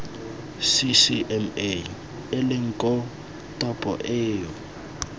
ccma eleng koo topo eo